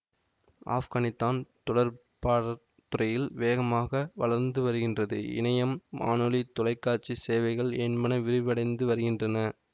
ஆப்கானித்தான் தொடர்பாடற் துறையில் வேகமாக வளர்ந்து வருகின்றது இணையம் வானொலி தொலைக்காட்சிச் சேவைகள் என்பன விரிவடைந்து வருகின்றன